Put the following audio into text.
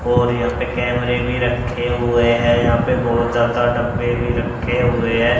और यहां पे कैमरे भी रखे हुए है। यहां पे बहोत जादा डब्बे भी रखे हुए है।